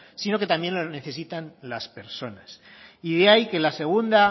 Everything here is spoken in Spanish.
sino que también lo necesitan las personas y de ahí que la segunda